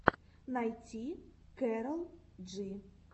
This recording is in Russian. найти кэрол джи